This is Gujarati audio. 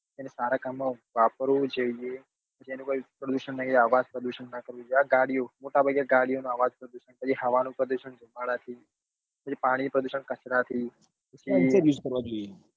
એના સારા કામ માં વાપરવું જોઈએ તેને કોઈ પ્રદુષણ નહિ અવાજ પ્રદુષણ નહિ આ ગાડીઓ મોટા ભાગે ગાડીઓ ના આવાજ પ્રદુષણ હવા નું પ્રદુષણ દુમાળા થી પછી પાણી નું પ્રદુષણ કચરા થી